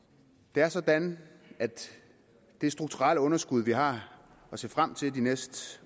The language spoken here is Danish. det er sådan at det strukturelle underskud vi har at se frem til de næste